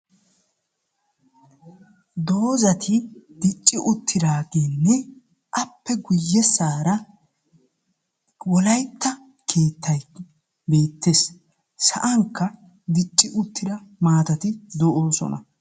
Doozati dicci uttidaageenne appe guyyessaara wolaytta keettayi beettes. Sa'ankka dicci uttida maatati de"oosona.